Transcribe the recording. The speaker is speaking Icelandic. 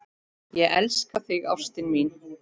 Ég elska þig ástin mín.